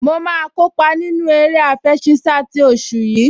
Mo máa kópa nínú eré àfẹṣinsá ti oṣù yìí